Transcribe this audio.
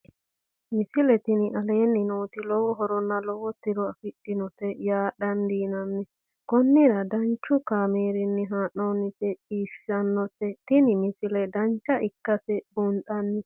misile tini aleenni nooti lowo horonna lowo tiro afidhinote yaa dandiinanni konnira danchu kaameerinni haa'noonnite biiffannote tini misile dancha ikkase buunxanni